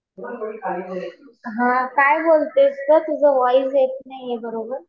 हा. काय बोलतेस ग? तुझा व्हॉइस येत नाहीये बरोबर.